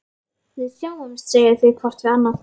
Við sjáumst, segja þau hvort við annað.